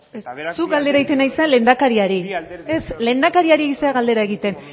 eta beraz zuk galdera egiten ari zara lehendakariari bi alderdiei ez lehendakariari ari zera galdera egiten